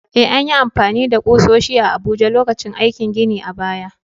Eh, an yi amfani da ƙusoshi a Abuja lokacin aikin ginin a baya.